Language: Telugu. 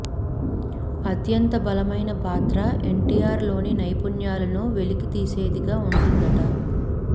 అత్యంత బలమైన పాత్ర ఎన్టీఆర్ లోని నైపుణ్యాలను వెలికి తీసేదిగా ఉంటుందట